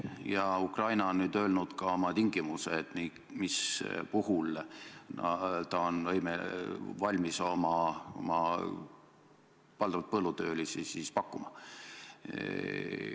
Ja Ukraina on nüüd öelnud ka oma tingimused, mis puhul ta on valmis oma valdavalt põllutöölisi pakkuma.